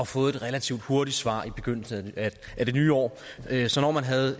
fået et relativt hurtigt svar i begyndelsen af det nye år så når man havde